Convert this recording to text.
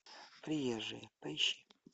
приезжие поищи